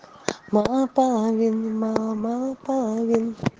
мало половин мало мало половин